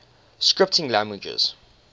scripting languages